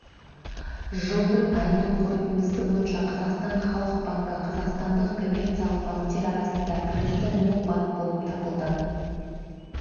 жылдың айының қорытындысы бойынша қазақстан халық банкі қазақстандық коммерциялық банктер арасында кірісі мол банк болып табылды